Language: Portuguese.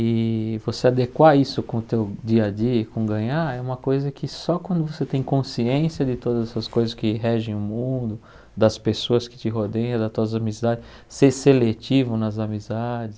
E você adequar isso com o teu dia a dia, e com ganhar, é uma coisa que só quando você tem consciência de todas essas coisas que regem o mundo, das pessoas que te rodeiam, das tuas amizades, ser seletivo nas amizades,